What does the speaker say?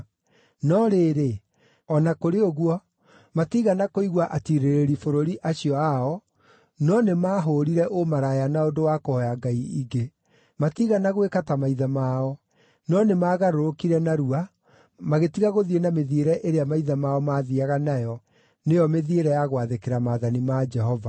No rĩrĩ, o na kũrĩ ũguo, matiigana kũigua atiirĩrĩri bũrũri acio ao, no nĩmahũũrire ũmaraya na ũndũ wa kũhooya ngai ingĩ. Matiigana gwĩka ta maithe mao, no nĩmagarũrũkire narua, magĩtiga gũthiĩ na mĩthiĩre ĩrĩa maithe mao maathiiaga nayo, nĩyo mĩthiĩre ya gwathĩkĩra maathani ma Jehova.